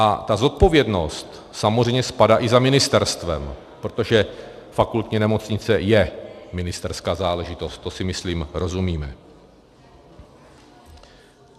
A ta zodpovědnost samozřejmě spadá i za ministerstvem, protože fakultní nemocnice je ministerská záležitost, to si, myslím, rozumíme.